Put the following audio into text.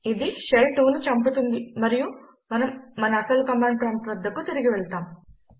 ఇది షెల్ 2ను చంపుతుంది మరియు మనం మన అసలు కమాండ్ ప్రాంప్ట్ వద్దకు తిరిగి వెళ్తాం